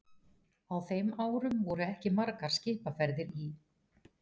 Á þeim árum voru ekki margar skipaferðir í